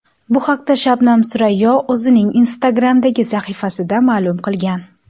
Bu haqda Shabnam Surayyo o‘zining Instagram’dagi sahifasida ma’lum qilgan.